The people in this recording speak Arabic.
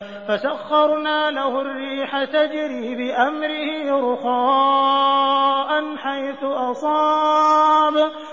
فَسَخَّرْنَا لَهُ الرِّيحَ تَجْرِي بِأَمْرِهِ رُخَاءً حَيْثُ أَصَابَ